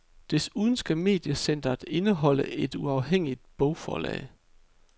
Desuden skal mediecenteret indeholde et uafhængigt bogforlag.